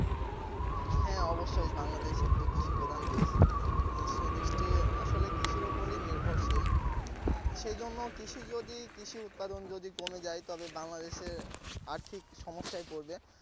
হ্যাঁ অবশ্যই বাংলাদেশ একটি কৃষি প্রধান দেশ সে দেশটি আসলে কৃষির উপরে নির্ভরশীল আহ সেজন্য কৃষি যদি কৃষি উৎপাদন যদি কমে যায় তবে বাংলাদেশ এ আর্থিক সমস্যায় পরবে।